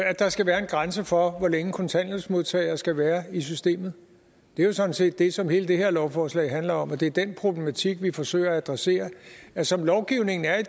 at der skal være en grænse for hvor længe kontanthjælpsmodtagere skal være i systemet det er jo sådan set det som hele det her lovforslag handler om og det er den problematik vi forsøger at adressere som lovgivningen er i